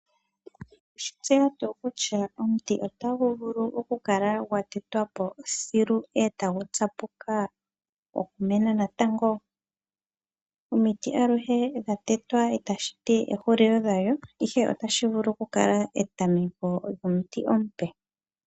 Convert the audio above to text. Owe shi tseya tuu kutya omuti otagu vulu oku kala gwa tetwa po thilu e tagu tsapuka oshimeno natango? omiti aluhe dha tetwa itashi ti ehulilo dhalyo, ihe otashi vulu oku kala etameko lyomuti omupe.